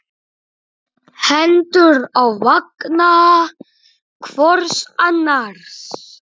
Hendur á vanga hvors annars.